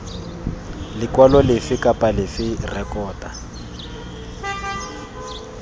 lekwalo lefe kana lefe rekota